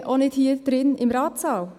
Bitte auch nicht hier im Ratssaal.